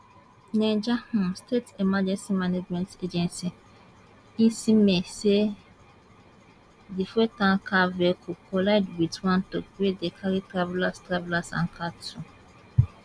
niger um state emergency management agency nsema say di fuel tanker vehicle collide wit one truck wey dey carry travellers travellers and cattle